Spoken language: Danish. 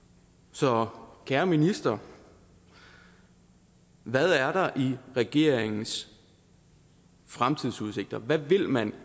så kære minister hvad er der i regeringens fremtidsudsigter hvad vil man